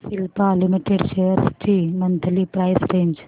Cipla limited shares ची monthly price range